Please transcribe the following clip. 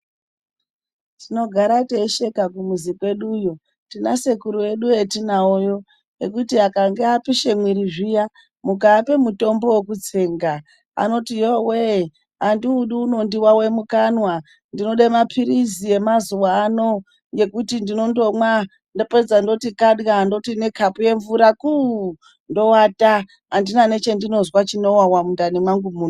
Tinogara teisheka kumuzi kweduyo. Tina sekuru edu vetinavo kweduyo, vekuti akange apishe mwiri zviya, mukaape mutombo wekutsenga, anoti yowee, handiudi unondiwawe mukanwa. Ndinode mapiritsi emazuwa ano ekuti ndinondomwa. Ndapedza ndoti kadiya . Ndoti nekapu yemvura kuu. Ndowata. Handina nechandinonzwa chinowawa mundani mangu muno.